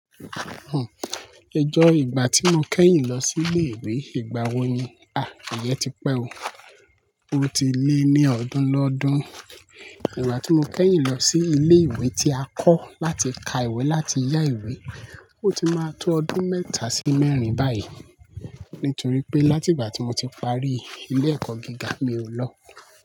Hn, ijọ́ ìgbà tí mo kẹ́yìn lọ sí ilé ìwé, ìgbà wo ni? À, Ìyẹ́ ti pẹ́ o. Ó ti lé ní ọdún lọ́dún. Ìgbà tí mo kẹ́yìn lọ sí ilé ìwé tí a kọ́ láti ka ìwé láti yá ìwé, ó ti máa tó ọdún mẹ́ta sí mẹ́rin báyìí. Nítorí pé láti ìgbà tí mo ti parí ilé ẹ̀kọ́ gíga mi o lọ.